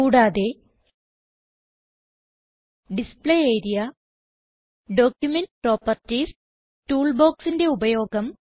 കൂടാതെ display area document properties tool ബോക്സിന്റെ ഉപയോഗം